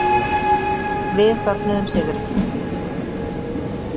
Við fögnuðum sigri.